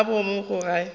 gore boomo ga bo age